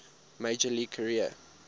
major league career